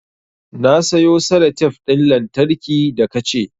Na sayo salatef ɗin lantarki da ka ce